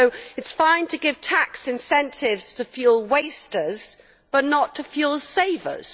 So it is fine to give tax incentives to fuel wasters but not to fuel savers.